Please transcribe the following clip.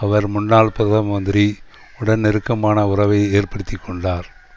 அவர் முன்னாள் பிரதம மந்திரி உடன் நெருக்கமான உறவை ஏற்படுத்தி கொண்டார்